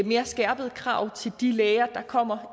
mere skærpede krav til de læger der kommer